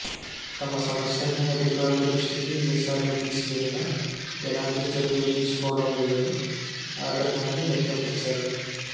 తమ సమస్యల్ని అధికారుల దృష్టికి ఎన్నిసార్లు తీసుకెళ్లినా ఎలాంటి చర్యలు తీసుకోవడంలేదని ఆగ్రహాన్ని వ్యక్తపరిచారు